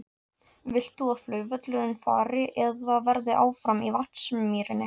Vilt þú að flugvöllurinn fari eða verði áfram í Vatnsmýrinni?